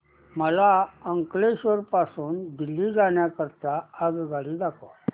मला अंकलेश्वर पासून दिल्ली जाण्या करीता आगगाडी दाखवा